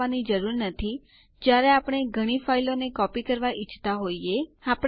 આપણને બીજી વિગતો માટે પણ પૂછવામાં આવશે